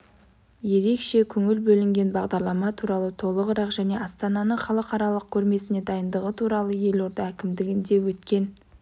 ерекше көңіл бөлінген бағдарлама туралы толығырақ және астананың халықаралық көрмесіне дайындығы туралы елорда әкімдігінде өткен